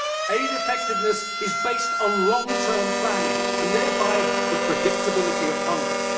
Aid effectiveness is based on long term planning and thereby the predictability of funding.